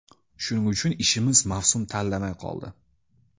Shuning uchun ishimiz mavsum tanlamay qoldi.